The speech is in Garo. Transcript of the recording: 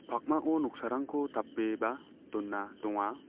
pakmao noksarangko tape ba dona donga.